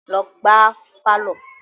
Lọ gbá á pálọ̀!